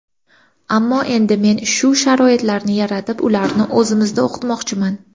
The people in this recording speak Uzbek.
Ammo endi men shu sharoitlarni yaratib, ularni o‘zimizda o‘qitmoqchiman.